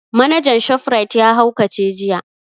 Manajan shof rite ya haukace jiya